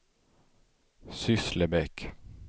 Sysslebäck